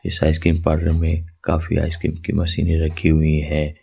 इस ice cream parlour में काफी आइसक्रीम के मशीनें रखी हुई है।